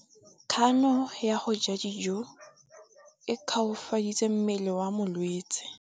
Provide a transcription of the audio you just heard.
Kganô ya go ja dijo e koafaditse mmele wa molwetse.